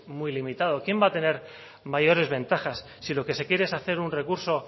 muy limitada quién va a tener mayores ventajas si lo que se quiere es hacer un recurso